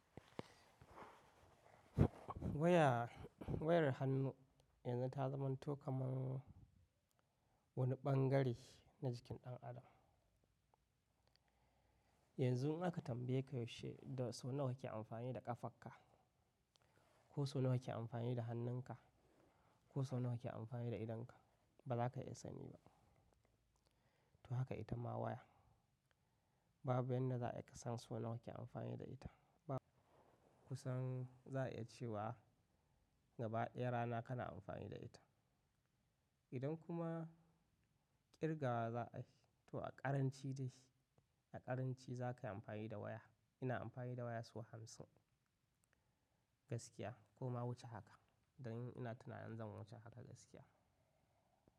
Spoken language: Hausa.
Waya, wayar hannu yanzu ta zamantoh kamar wani ɓangare na jikin ɗan adam. Yanzu in aka tambaye ka yaushe da sau nawa kake amfani da ƙafarka ko sau nawa kake amfani da hannunka ko sau nawa kake amfani da idonka, ba za ka iya sani ba. To haka ita ma waya, babu yanda za ai ka san sau nawa kake amfani da ita. Ba kusan za a iya cewa gaba ɗaya rana kana amfani da ita. Idan kuma kirgawa za a yi to a ƙaranci da shi. A ƙaranci za ka yi amfani da waya. Ina amfani da waya sau hamsin gaskiya ko ma wuce haka. Dan ina tunanin zan wuce haka gaskiya.